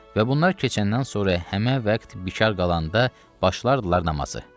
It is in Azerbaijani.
Və bunlar keçəndən sonra həmən vaxt bikar qalanda başlayardılar namazı.